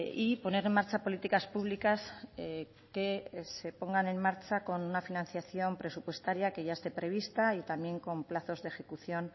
y poner en marcha políticas públicas que se pongan en marcha con una financiación presupuestaria que ya esté prevista y también con plazos de ejecución